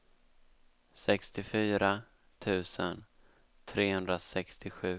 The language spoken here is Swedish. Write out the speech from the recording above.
sextiofyra tusen trehundrasextiosju